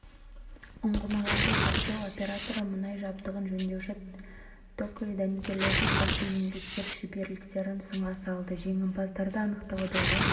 ұңғымаларды зерттеу операторы мұнай жабдығын жөндеуші токарь дәнекерлеуші сияқты еңбеккер шеберліктерін сынға салды жеңімпаздарды анықтаудағы